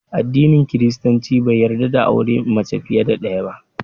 Addinin Kiristanci bai yarda da auren mace fiye da ɗaya ba